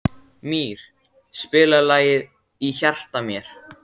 Mír, spilaðu lagið „Í hjarta mér“.